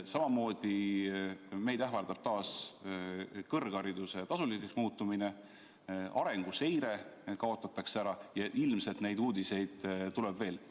Samamoodi ähvardab meid taas kõrghariduse tasuliseks muutumine, arenguseire kaotatakse ära ja ilmselt neid uudiseid tuleb veel.